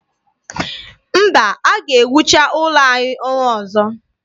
Mba, a ga-ewucha ụlọ anyị ọnwa ọzọ.